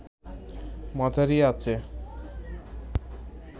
মাঝারি আঁচে